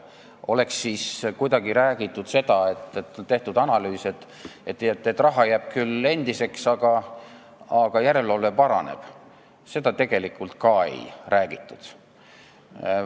Oleks siis räägitud, et on tehtud analüüs ja on selgunud, et raha jääb küll endiseks, aga järelevalve paraneb – seda tegelikult ka ei räägitud.